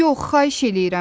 Yox, xahiş eləyirəm.